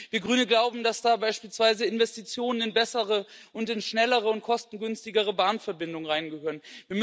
Wir Grünen glauben, dass da beispielsweise Investitionen in bessere, schnellere und kostengünstigere Bahnverbindungen reingehören.